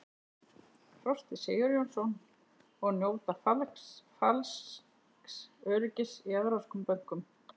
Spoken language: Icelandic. Frosti Sigurjónsson: Og njóta falsks öryggis í evrópskum bönkum?